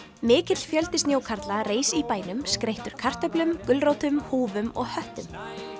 mikill fjöldi snjókarla reis í bænum skreyttur kartöflum gulrótum og höttum